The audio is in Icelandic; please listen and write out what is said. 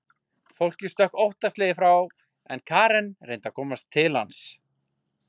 Fólkið stökk óttaslegið frá en Karen reyndi að komast til hans.